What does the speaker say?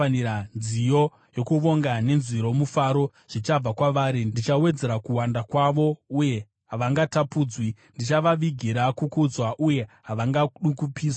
Nziyo dzokuvonga dzichabva kwavari uye nenzwi romufaro. Ndichawedzera kuwanda kwavo, uye havangatapudzwi; ndichavavigira kukudzwa, uye havangadukupiswi,